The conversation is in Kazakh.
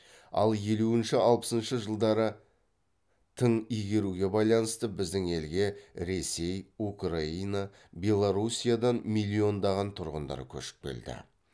ал елуінші алпысыншы жылдары тың игеруге байланысты біздің елге ресей украина белоруссиядан миллиондаған тұрғындар көшіп келді